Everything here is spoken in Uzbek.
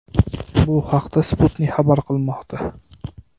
Bu haqda Sputnik xabar qilmoqda .